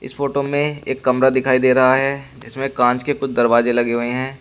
Photo में एक कमरा दिखाई दे रहा है इसमें कांच के कुछ दरवाजे लगे हुए हैं।